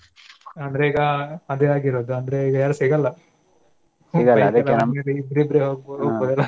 ಅಂದ್ರೆ ಈಗ ಅದೇ ಅಗಿರೋದ ಅಂದ್ರೆ ಈಗ ಯಾರು ಸಿಗಲ್ಲ ಇಬ್ಬರಿದ್ರೆ ಹೋಗ್ಬೋದು.